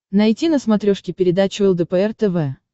найти на смотрешке передачу лдпр тв